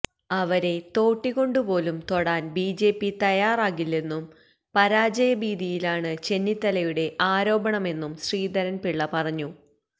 അവരെ തോട്ടികൊണ്ട് പോലും തൊടാന് ബിജെപി തയ്യാറാകില്ലെന്നും പരാജയ ഭീതിയിലാണ് ചെന്നിത്തലയുടെ ആരോപണമെന്നും ശ്രീധരന് പിള്ള പറഞ്ഞു